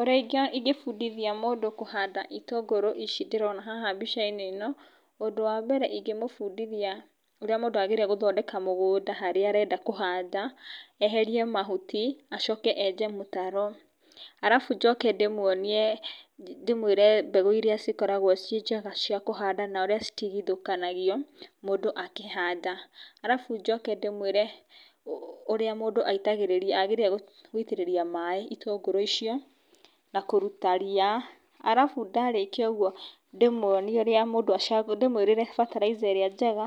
Ũrĩa ingĩbundithia mũndũ kũhanda itũngũrũ ici ndĩrona haha mbica-inĩ ĩno, ũndũ wa mbere ingĩmũbundithia ũrĩa mũndũ agĩrĩire gũthondeka mũgũnda harĩa arenda kũhanda, eherie mahuti acoke enje mũtaro, alafu njoke ndĩmwonie, ndĩmwĩre mbegũ iria cikoragwo ciĩ njega cia kũhanda na ũrĩa citigithũkanagio mũndũ akĩhandaa alafu njoke ndĩmũĩre ũrĩa agĩrĩire gũitĩrĩria maĩ itũngũrũ icio na kũruta ria alafu ndarĩkia ũguo ndĩmwĩrĩre bataraitha ĩrĩa njega